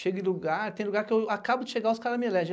Chego em lugar, tem lugar que eu acabo de chegar, os caras me elegem.